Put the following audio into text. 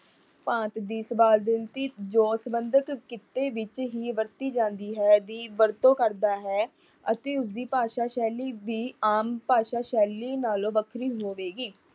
ਭਾਂਤ ਦੀ ਜੋਂ ਸਬੰਧਤ ਕਿੱਤੇ ਵਿੱਚ ਹੀ ਵਰਤੀ ਜਾਂਦੀ ਹੈ, ਦੀ ਵਰਤੋਂ ਕਰਦਾ ਹੈ ਅਤੇ ਉਸ ਦੀ ਭਾਸ਼ਾ ਸੈਲੀ ਵੀ ਆਮ ਭਾਸ਼ਾ ਸੈਲੀ ਨਾਲੋਂ ਵੱਖਰੀ ਹੋਵੇਗੀ।